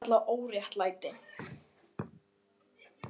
Það er þetta sem ég kalla óréttlæti.